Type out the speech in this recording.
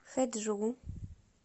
хэджу